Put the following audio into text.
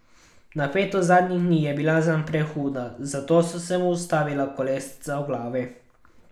Napetost zadnjih dni je bila zanj prehuda, zato so se mu ustavila kolesca v glavi.